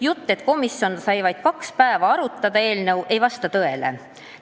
Jutt, et komisjon sai vaid kaks päeva eelnõu arutada, ei vasta tõele.